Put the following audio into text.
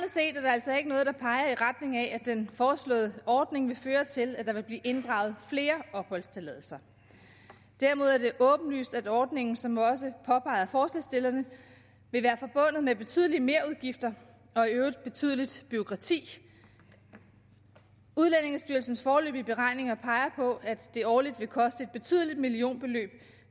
altså ikke noget der peger i retning af at den foreslåede ordning vil føre til at der vil blive inddraget flere opholdstilladelser derimod er det åbenlyst at ordningen som også påpeget af forslagsstillerne vil være forbundet med betydelige merudgifter og i øvrigt betydeligt bureaukrati udlændingestyrelsens foreløbige beregninger peger på at det årligt vil koste et betydeligt millionbeløb